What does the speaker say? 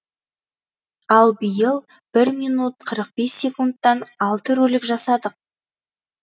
ал биыл бір минут қырық бес секундтан алты ролик жасадық